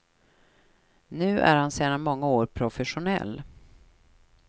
Nu är han sedan många år professionell.